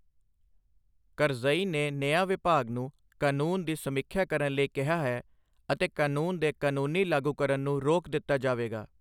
ਕਰਜ਼ਈ ਨੇ ਨਿਆਂ ਵਿਭਾਗ ਨੂੰ ਕਾਨੂੰਨ ਦੀ ਸਮੀਖਿਆ ਕਰਨ ਲਈ ਕਿਹਾ ਹੈ, ਅਤੇ ਕਾਨੂੰਨ ਦੇ ਕਾਨੂੰਨੀ ਲਾਗੂਕਰਨ ਨੂੰ ਰੋਕ ਦਿੱਤਾ ਜਾਵੇਗਾ।